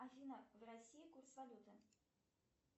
афина в россии курс валюты